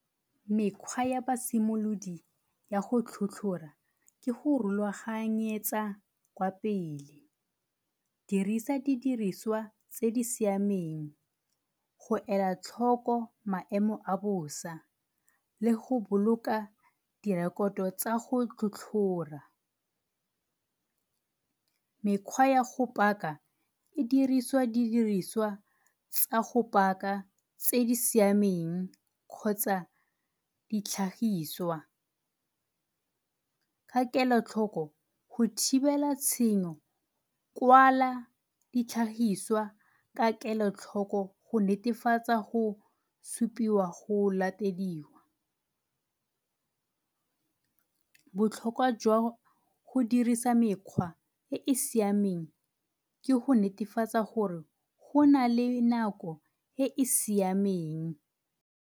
Mekgwa ya basimolodi ya go tlhotlhora ke go rulaganyetsa kwa pele, dirisa di diriswa tse di siameng go ela tlhoko maemo a bosa le go boloka direkoto tsa go tlhotlhora. Mekgwa ya go paka e diriswa di diriswa tsa go paka tse di siameng kgotsa ditlhagiswa ka kelotlhoko. Go thibela tshenyo kwala ditlhagiswa ka kelotlhoko go netefatsa go supiwa go latediwa. Botlhokwa jwa go dirisa mekgwa e e siameng ke go netefatsa gore go nale nako e e siameng.